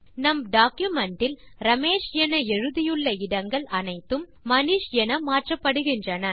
நம் டாக்குமென்ட் இல் ரமேஷ் என எழுதியுள்ள இடங்கள் அனைத்தும் மனிஷ் என மாற்றப்படுகின்றன